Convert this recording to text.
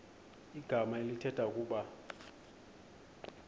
igama elithetha ukuba